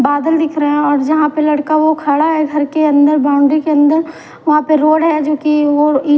बादल दिख रख रहे है और जहा पर लड़का वो खड़ा है घर के अन्दर बाउंड्री के अन्दर वहाँ पर रोड है जोकी वो ई --